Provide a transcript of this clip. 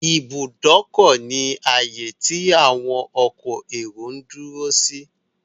Ìbùdókọ̀ ni ààyè tí àwọn ọkọ èrò ń dúró sí.